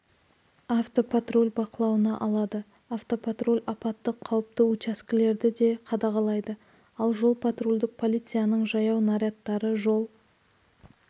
автопатруль бақылауына алады автопатруль апаттық қауіпті учаскелерді де қадағалайды ал жол-патрульдік полицияның жаяу нарядтары жол